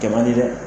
Kɛ man di dɛ